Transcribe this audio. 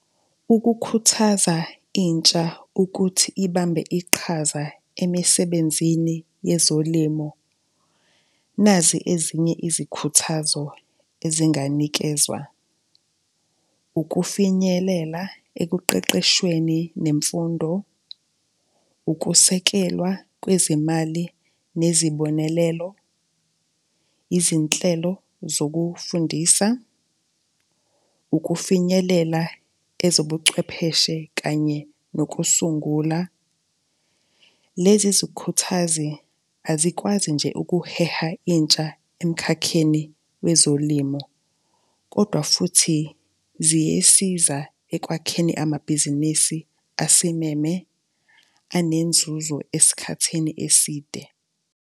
Ukukhuthaza intsha ukuthi ibambe iqhaza emisebenzini yezolimo, nazi ezinye izikhuthazo ezinganikezwa, ukufinyelela ekuqeqeshweni nemfundo, ukusekelwa kwezimali nezibonelelo, yizinhlelo zokufundisa, ukufinyelela ezobuchwepheshe kanye nokusungula. Lezi zikhuthazi azikwazi nje ukuheha intsha emkhakheni wezolimo kodwa futhi ziyesiza ekwakheni amabhizinisi asimeme, anenzuzo esikhathini eside.